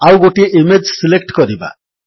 ଆଉ ଗୋଟିଏ image select କରିବା